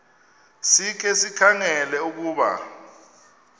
sikhe sikhangele ukuba